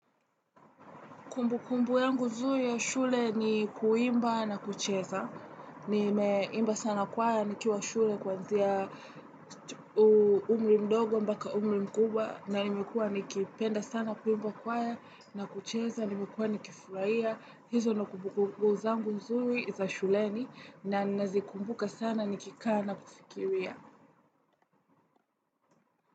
Kumbukumbu yangu nzuri ya shule ni kuimba na kucheza. Nimeimba sana kwaya nikiwa shule kuanzia umri mdogo mpaka umri mkubwa na nimekuwa nikipenda sana kuimba kwaya na kucheza, nimekuwa nikifurahia. Hizo ndo kumbukumbu zangu nzuri za shuleni na nazikumbuka sana nikikaa na kufikiria.